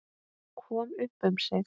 Kom upp um sig.